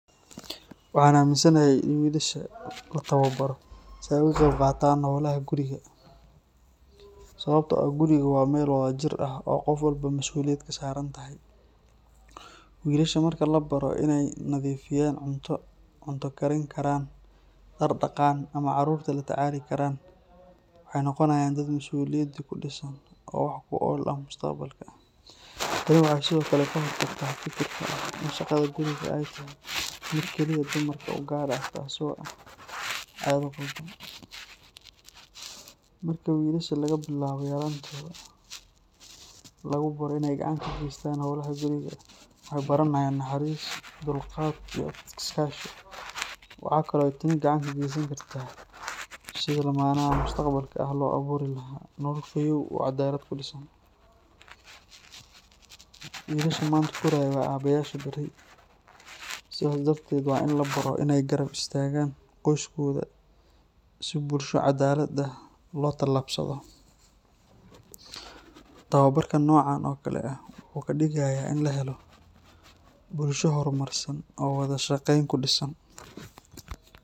Waxaan aaminsanahay in wiilasha la tababaro si ay uga qayb qaataan howlaha guriga sababtoo ah gurigu waa meel wadajir ah oo qof walba masuuliyad ka saaran tahay. Wiilasha marka la baro in ay nadiifiyaan, cunto karin karaan, dhar dhaqaan ama caruurta la tacaali karaan, waxay noqonayaan dad masuuliyadi ku dhisan oo wax ku ool ah mustaqbalka. Tani waxay sidoo kale ka hortagtaa fikirka ah in shaqada gurigu ay tahay mid keliya dumarka u gaar ah taasoo ah caado qaldan. Marka wiilasha laga bilaabo yaraantooda lagu baro in ay gacan ka geystaan howlaha guriga, waxay baranayaan naxariis, dulqaad iyo iskaashi. Waxa kale oo ay tani gacan ka geysan kartaa sidii lamaanaha mustaqbalka ah loogu abuuri lahaa nolol fayoow oo caddaalad ku dhisan. Wiilasha maanta koraya waa aabbayaasha berri, sidaas darteed waa in la baro in ay garab istaagaan qoyskooda si bulsho caddaalad ah loogu tallaabsado. Tababarka noocan oo kale ah wuxuu ka dhigayaa in la helo bulsho horumarsan oo wada shaqayn ku dhisan.